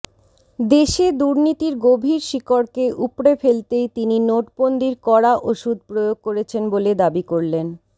দেশে দুর্নীতির গভীর শিকড়কে উপড়ে ফেলতেই তিনি নোটবন্দির কড়া ওষুধ প্রয়োগ করেছেন বলে দাবি করলেন